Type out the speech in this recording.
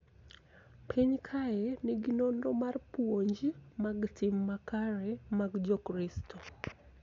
Piny kae nigi nonro mar puonj mag tim makare mag Jokristo .